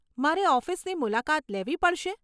મારે ઓફિસની મુલાકાત લેવી પડશે?